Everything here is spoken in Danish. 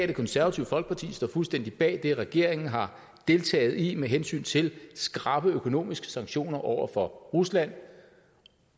det konservative folkeparti står fuldstændig bag det regeringen har deltaget i med hensyn til skrappe økonomiske sanktioner over for rusland